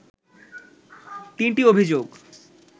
তিনটি অভিযোগ